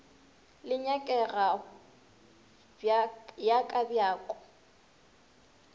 le nyakego ya ka bjako